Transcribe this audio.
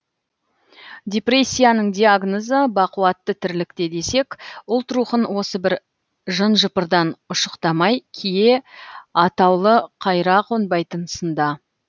депрессияның диагнозы бақуатты тірлікте десек ұлт рухын осы бір жын жыпырдан ұшықтамай кие атаулы қайыра қонбайтын сынды